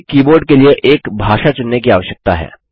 हमें कीबोर्ड के लिए एक भाषा चुनने की आवश्यकता है